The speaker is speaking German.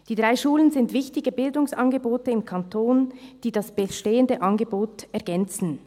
Die drei Schulen sind wichtige Bildungsangebote im Kanton, die das bestehende Angebot ergänzen.